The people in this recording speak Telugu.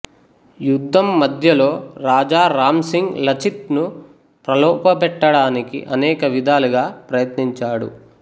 యుద్ధం మధ్యలో రాజా రాంసింగ్ లచిత్ ను ప్రలోభపెట్టడానికి అనేక విధాలుగా ప్రయత్నించాడు